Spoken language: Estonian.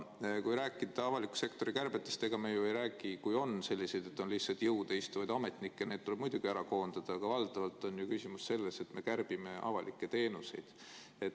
Kui rääkida avaliku sektori kärbetest, siis sellised lihtsalt jõude istuvad ametnikud tuleb muidugi koondada, aga valdavalt on ju küsimus selles, et me kärbime avalikke teenuseid.